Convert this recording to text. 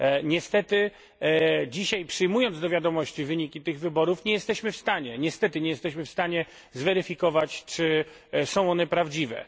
Niestety dzisiaj, przyjmując do wiadomości wyniki tych wyborów, nie jesteśmy w stanie niestety nie jesteśmy w stanie zweryfikować, czy są one prawdziwe.